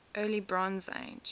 early bronze age